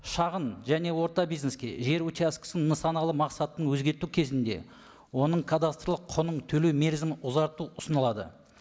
шағын және орта бизнеске жер учаскесінің нысаналы мақсатын өзгерту кезінде оның кадастрлық құнын төлеу мерзімін ұзарту ұсынылады